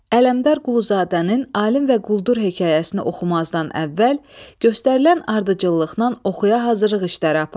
Ələmdar Quluzadənin “Alim və qul”dur hekayəsini oxumazdan əvvəl göstərilən ardıcıllıqla oxuya hazırlıq işləri apar.